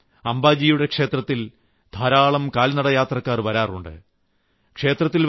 ഭാദ്രമാസത്തിൽ അംബാജിയുടെ ക്ഷേത്രത്തിൽ ധാരാളം കാൽനടയാത്രക്കാർ വരാറുണ്ട്